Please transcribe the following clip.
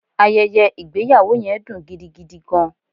Ayeye igbeyawo yen dun gidigidi gan